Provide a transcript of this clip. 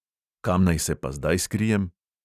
Kam naj se pa zdaj skrijem?